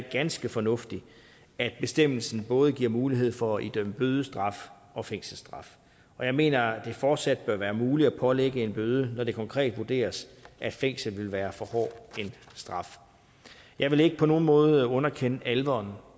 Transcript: ganske fornuftigt at bestemmelsen både giver mulighed for at idømme bødestraf og fængselsstraf og jeg mener at det fortsat bør være muligt at pålægge en bøde når det konkret vurderes at fængsel vil være for hård en straf jeg vil ikke på nogen måde underkende alvoren